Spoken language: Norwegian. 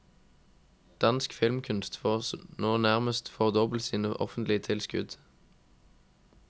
Dansk filmkunst får nå nærmest fordoblet sine offentlige tilskudd.